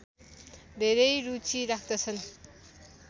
धेरै रूचि राख्दछन्